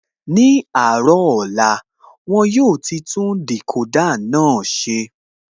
Ní àárọ̀ ọ̀la, won yóò ti tún Decoder náà ṣe